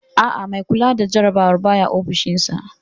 Aa, mai kula da jarabawar baya ofishin sa